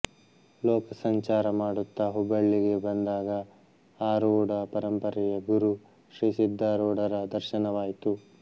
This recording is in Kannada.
ಲೋಕಸಂಚಾರ ಮಾಡುತ್ತ ಹುಬ್ಬಳ್ಳಿಗೆ ಬಂದಾಗ ಆರೂಢ ಪರಂಪರೆಯ ಗುರು ಶ್ರೀ ಸಿದ್ಧಾರೂಢರ ದರ್ಶನವಾಯಿತು